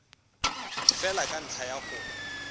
fela ka ntlha ya go